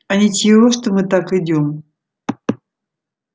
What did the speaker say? а ничего что мы так идём